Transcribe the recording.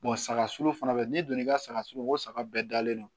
saga suru fana bɛ n'i donn'i ka saga sogo bɛɛ dalen don